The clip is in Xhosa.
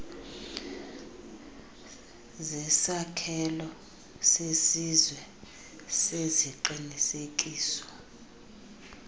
zesakhelo sesizwe seziqinisekiso